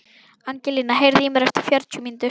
Angelína, heyrðu í mér eftir fjörutíu mínútur.